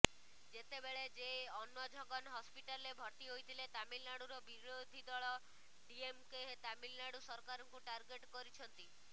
ଯେତେବେଳେ ଜେ ଅନ୍ବଝଗନ୍ ହସ୍ପିଟାଲ୍ରେ ଭର୍ତ୍ତି ହୋଇଥିଲେ ତାମିଲନାଡୁର ବିରୋଧୀ ଦଳ ଡିଏମ୍କେ ତାମିଲନାଡୁ ସରକାରଙ୍କୁ ଟାର୍ଗେଟ୍ କରିଛନ୍ତି